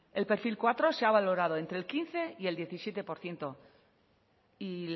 el pe ele cuatro se ha valorado entre el quince y el diecisiete por ciento y